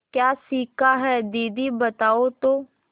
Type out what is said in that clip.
क्या सीखा है दीदी बताओ तो